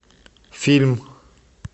фильм